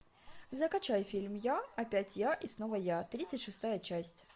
закачай фильм я опять я и снова я тридцать шестая часть